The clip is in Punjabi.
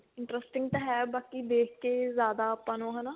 interesting ਤਾਂ ਹੈ ਬਾਕੀ ਦੇਖ ਕੇ ਜਿਆਦਾ ਆਪਾਂ ਨੂੰ ਹਨਾ